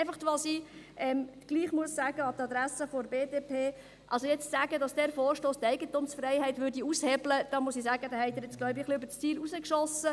Etwas muss ich an die Adresse der BDP sagen: Jetzt zu sagen, dass dieser Vorstoss die Eigentumsfreiheit aushebeln würde – damit haben Sie etwas übers Ziel hinausgeschossen.